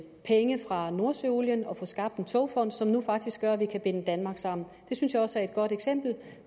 penge fra nordsøolien at få skabt en togfond som nu faktisk gør at vi kan binde danmark sammen det synes jeg også er et godt eksempel